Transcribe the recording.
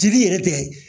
Dili yɛrɛ bɛɛ ye